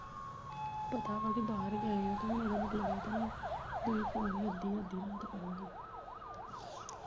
ਪਤਾ ਵਾ ਕਿ ਬਾਹਰ ਗਏ ਆ ਤੇ ਹੁਣ ਏਦਾ ਮਤਲਬ ਇਹ ਤਾਂ ਨੀ ਕਿ ਤੁਹੀਂ ਫੋਨ ਅੱਧੀ- ਅੱਧੀ ਰਾਤ ਕਰੋ।